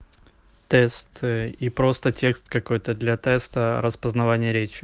тест и просто текст какой-то для теста распознавание речи